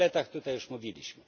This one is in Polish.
O zaletach tutaj już mówiliśmy.